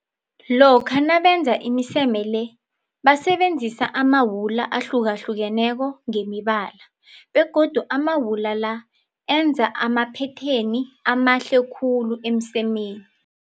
Lokha nabenza imiseme le basebenzisa amawula ahlukahlukeneko ngemibala, begodu amawula la enza amaphetheni amahle khulu emsemeni.